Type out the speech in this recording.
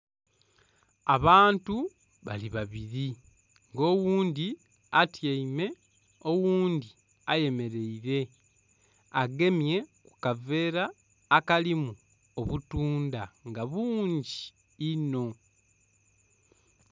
Abantu bali babiri nga oghundhi atyaime, oghundhi ayemereire agemye kukaveera akalimu obutunda nga bungi inho.